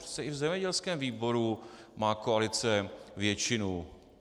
Přece i v zemědělském výboru má koalice většinu.